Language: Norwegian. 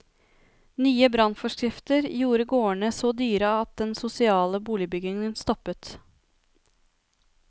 Nye brannforskrifter gjorde gårdene så dyre at den sosiale boligbyggingen stoppet opp.